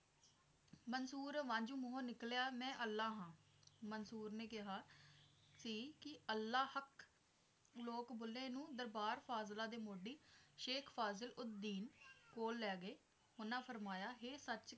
ਕਸੂਰ ਵਾਂਜੋ ਮੂੰਹੋ ਨਿਕਲਿਆ ਮੈਂ ਅੱਲਾ ਹਾਂ ਮਨਸੂਰ ਨੇ ਕਿਹਾ ਸੀ ਕੇ ਅੱਲਾ ਹੱਕ ਲੋਕ ਬੁੱਲੇ ਨੂੰ ਦਰਬਾਰ ਫਾਜ਼ਿਲਾ ਦੇ ਮੋਢੀ ਸ਼ੇਖ ਫਾਜ਼ਿਲ ਉਦੀਂਨ ਕੋਲ ਲੈ ਗਏ ਉਹਨਾਂ ਫਰਮਾਇਆ ਕੇ ਇਹ ਸੱਚ